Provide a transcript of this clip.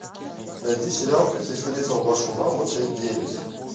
найди сериал как я встретил вашу маму часть девять